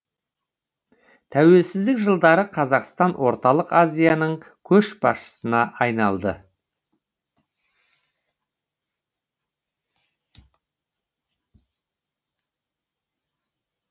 тәуелсіздік жылдары қазақстан орталық азияның көшбасшысына айналды